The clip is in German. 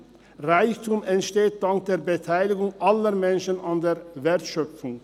Reichtum entsteht durch die Beteiligung aller Menschen an der Wertschöpfung.